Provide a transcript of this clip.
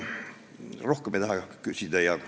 Rohkem ma ei taha midagi öelda.